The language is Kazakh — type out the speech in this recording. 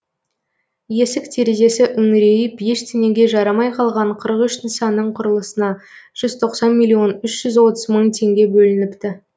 есік терезесі үңірейіп ештеңеге жарамай қалған қырық үш нысанның құрылысына жүз тоқсан миллион жеті жүз отыз мың теңге бөлініпті